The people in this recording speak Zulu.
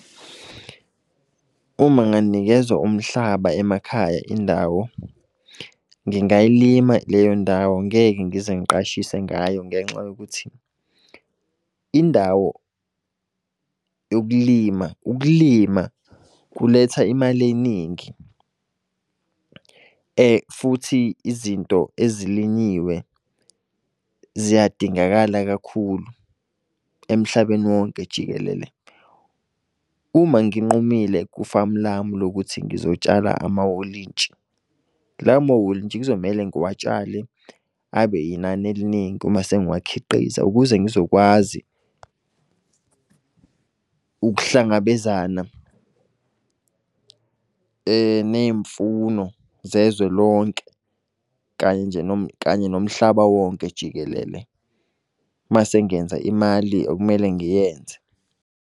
Uma nganikezwa umhlaba emakhaya indawo, ngingayilima leyo ndawo ngeke ngize ngiqashise ngayo. Ngenxa yokuthi indawo yokulima, ukulima kuletha imali eningi. Futhi izinto ezilinyiwe ziyadingakala kakhulu emhlabeni wonke jikelele. Uma nginqumile ku-farm lami lokuthi ngizotshala amawolintshi. Lawo mawolintshi kuzomele ngiwutshalile abe yinani eliningi uma sengiwa khiqiza. Ukuze ngizokwazi ukuhlangabezana ney'mfuno zezwe lonke, kanye nje kanye nomhlaba wonke jikelele. Mase ngenza imali okumele ngiyenze.